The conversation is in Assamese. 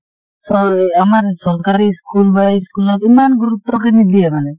আমাৰ চৰকাৰী school বা এই school ত ইমান গুৰুত্বকে নিদিয়ে মানে